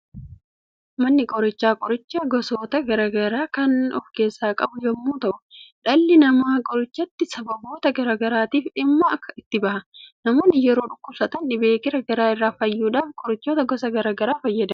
Manni qorichaa qorichoota gosoota garaa garaa kan of keessaa qabu yemmuu ta'u dhalli namaa qorichatti sababoota garaa garaatiif dhimma itti ba'a. Namoonni yeroo dhukkubsatan dhibee gara garaa irraa fayyuudhaaf qorichoota gosa garaa garaa fayyadamu.